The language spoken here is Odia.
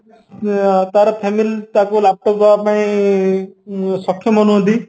ଆଁ ତାର family ତାକୁ laptop ଦବା ପାଇଁ ଉଁ ସକ୍ଷମ ନୁହନ୍ତି